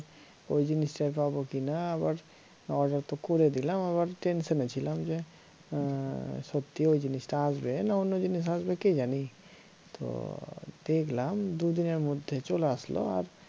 ওই জিনিস টাই পাবো কিনা আবার order তো করে দিলাম আবার tension এ ছিলাম যে হম সত্যি ওই জিনিস টা আসবে না অন্য জিনিস আসবে কে জানি তো দেখলাম দু দিনের মধ্যে চলে আসলো আর